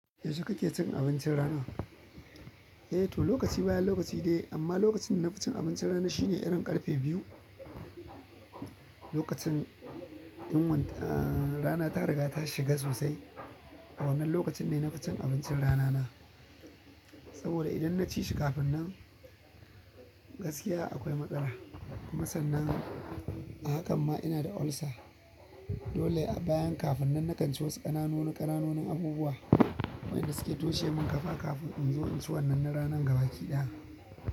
Yaushe kake cin abincin rana? Eh to lokaci bayan lokaci de amma lokacin nafi abincin rana shine irin ƙarfe biyu. Lokacin yin wan, aa, rana ta riga ta shiga sosai. Awannan lokacin ne nafi cin abincin rana na saboda idan na ci shi kafin nan gaskiya akwai matsala. Kuma sannan a hakan ma ina da ulcer. Dole a bayan kafin nan na kanci wasu ƙanananu ƙananan abubuwa waɗanda suke toshe mun ƙafa kafin in zo in ci wannan na rana gaba ki ɗaya.